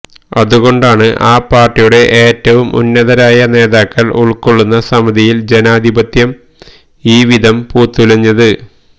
അതുകൊണ്ടാണ് ആ പാര്ട്ടിയുടെ ഏറ്റവും ഉന്നതരായ നേതാക്കള് ഉള്ക്കൊള്ളുന്ന സമിതിയില് ജനാധിപത്യം ഈവിധം പൂത്തുലഞ്ഞത്